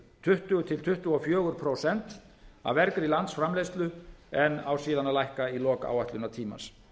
tuttugu til tuttugu og fjögur prósent af vergri landsframleiðslu en á síðan að lækka í lok áætlunartímans